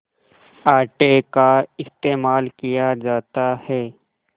आटे का इस्तेमाल किया जाता है